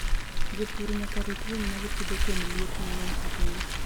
Jopur nyaka rit winy ma gipidho kuom liet mang'eny ahinya.